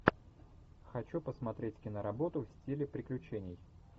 хочу посмотреть киноработу в стиле приключений